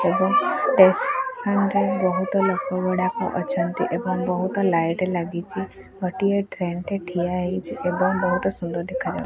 ଏବଂ ଟେସନ୍ ରେ ବହୁତ ଲୋକ ଗୁଡ଼ାକ ଅଛନ୍ତି ଏବଂ ବହୁତ ଲାଇଟ୍ ଲାଗିଚି ଗୋଟିଏ ଟ୍ରେନ ଟେ ଠିଆ ହେଇଚି ଏବଂ ବହୁତ ସୁନ୍ଦର ଦେଖାଯାଉ --